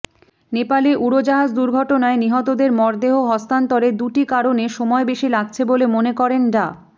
নেপালে উড়োজাহাজ দুর্ঘটনায় নিহতদের মরদেহ হস্তান্তরে দুটি কারণে সময় বেশি লাগছে বলে মনে করেন ডা